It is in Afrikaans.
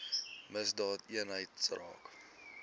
misdaadeenheidsaak